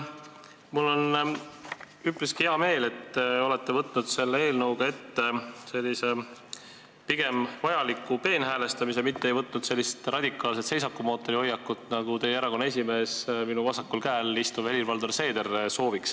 Mul on üpriski hea meel, et te olete võtnud selle eelnõuga ette pigem vajaliku peenhäälestamise, mitte ei ole võtnud radikaalset seisakumootori hoiakut, nagu sooviks teie erakonna esimees, minu vasakul käel istuv Helir-Valdor Seeder.